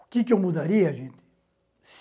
O que que eu mudaria, gente?